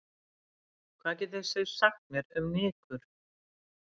Hvað getir þið sagt mér um nykur?